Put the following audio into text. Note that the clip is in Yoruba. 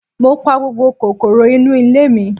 Mo pa gbogbo kòkòrò inú ilé mi.